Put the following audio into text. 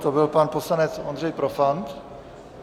To byl pan poslanec Ondřej Profant.